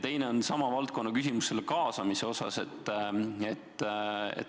Teine on sama valdkonna küsimus kaasamise kohta.